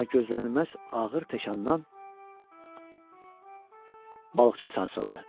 Amma gözlənilməz ağır təkandan balıqçı sarsıldı.